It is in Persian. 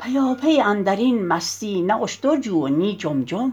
پیاپی اندر این مستی نی اشتر جو و نی جم جم